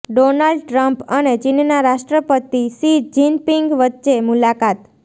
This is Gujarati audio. ડોનાલ્ડ ટ્રમ્પ અને ચીનના રાષ્ટ્રપતિ શિ જિનપિંગ વચ્ચે મુલાકાત